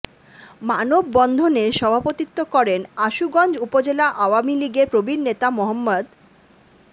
মানববন্ধনে সভাপতিত্ব করেন আশুগঞ্জ উপজেলা আওয়ামী লীগের প্রবীণ নেতা মো